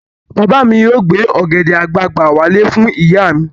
Bàbá mi yóò gbé ọ̀gẹ̀dẹ̀ àgbagbà wálé fún ìyá mi.